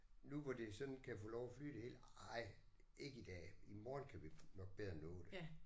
Nu hvor det sådan kan få lov at flyde det hele nej ikke i dag. I morgen kan vi nok bedre nå det